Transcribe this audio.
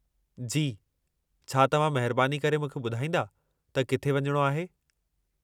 जी, छा तव्हां महिरबानी करे मूंखे ॿुधाईंदा त किथे वञणो आहे?